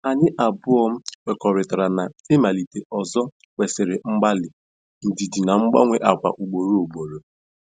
Anyị abụọ kwekọrịtara na ị malite ọzọ kwesịrị mgbalị, ndidi na mgbanwe agwa ugboro ugboro.